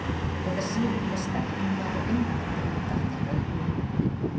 Þetta sýnir hve sterk hún var og einbeitt ef henni datt eitthvað í hug.